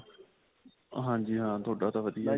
ਹਾਂਜੀ ਹਾਂ ਤੁਹਾਡਾ ਤਾਂ ਵਧੀਆ.